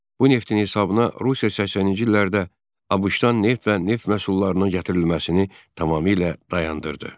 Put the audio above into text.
Bu neftin hesabına Rusiya 80-ci illərdə ABŞ-dan neft və neft məhsullarının gətirilməsini tamamilə dayandırdı.